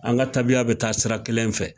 An ka tabiya bi taa sira kelen fɛ